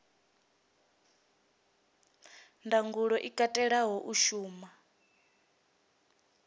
ndangulo i katelaho u shuma